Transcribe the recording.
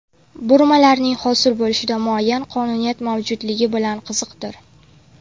Burmalarning hosil bo‘lishida muayyan qonuniyat mavjudligi bilan qiziqdir.